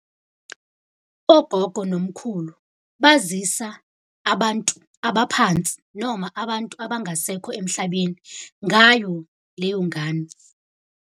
Ogogo nomkhulu bazisa abantu abaphansi noma abantu abangasekho emhlabeni ngayo leyo ngane.